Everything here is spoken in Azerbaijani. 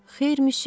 Xeyr, müsyö.